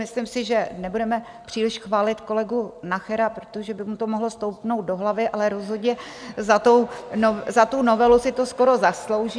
Myslím si, že nebudeme příliš chválit kolegu Nachera, protože by mu to mohlo stoupnout do hlavy, ale rozhodně za tu novelu si to skoro zaslouží.